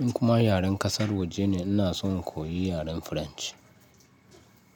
In kuma yaren ƙasar waje ne, ina son koyi yaren French.